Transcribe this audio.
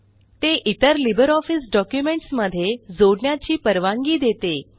ते इतर LibreOffice documents मध्ये जोडण्याची परवानगी देते